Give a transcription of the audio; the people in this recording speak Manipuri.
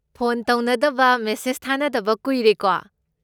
ꯐꯣꯟ ꯇꯧꯅꯗꯕ ꯃꯦꯁꯦꯖ ꯊꯥꯅꯗꯕ ꯀꯨꯏꯔꯦꯀꯣ꯫